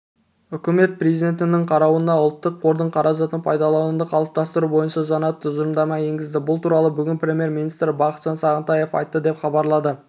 үкімет президентінің қарауына ұлттық қордың қаражатын пайдалануды қалыптастыру бойынша жаңа тұжырымдама енгізді бұл туралы бүгін премьер-министрі бақытжан сағынтаев айтты деп хабарлады